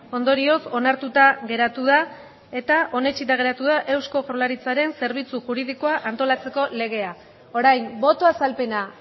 ondorioz onartuta geratu da eta onetsita geratu da eusko jaurlaritzaren zerbitzu juridikoa antolatzeko legea orain boto azalpena